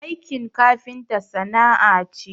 Aikin kafinta sana'a ce